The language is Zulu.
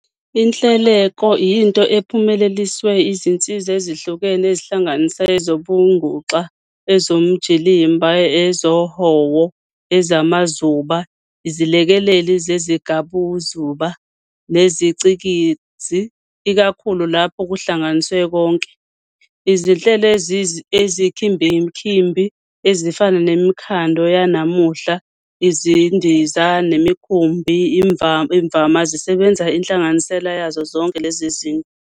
Inhleleleko yinto ephunyeleliswe izinsiza ezihlukene ezihlanganisa ezobunguxa, ezomjilimba, ezohowo, ezamazuba, izilekeleli zezigabuzuba, neziCikizi, ikakhulu lapho kuhlanganiswe konke. Izinhlelo eziyinkimbinkimbi, ezifana nemikhando yanamuhla, izindiza, nemikhumbi, imvama zisebenzisa inhlanganisela yazi zonke lezinto.